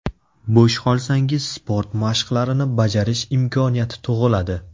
Bo‘sh qolsangiz sport mashqlarini bajarish imkoniyati tug‘iladi.